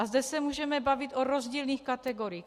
A zde se můžeme bavit o rozdílných kategoriích.